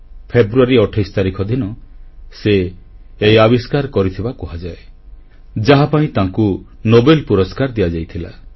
ଫେବୃଆରୀ 28 ତାରିଖ ଦିନ ସେ ଏହି ଆବିଷ୍କାର କରିଥିବା କୁହାଯାଏ ଯାହାପାଇଁ ତାଙ୍କୁ ନୋବେଲ ପୁରସ୍କାର ଦିଆଯାଇଥିଲା